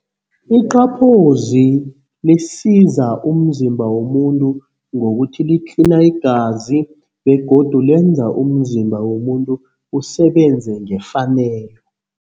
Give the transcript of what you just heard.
Iqaphozi lisiza umzimba womuntu ngokuthi litlina igazi begodu lenza umzimba womuntu usebenze ngefanelo.